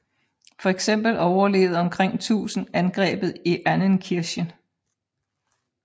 Fx overlevede omkring 1000 angrebet i Annenkirche